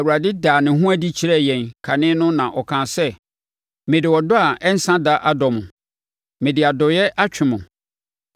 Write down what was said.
Awurade daa ne ho adi kyerɛɛ yɛn kane no na ɔkaa sɛ, “Mede ɔdɔ a ɛnsa da adɔ mo mede adɔeɛ atwe mo.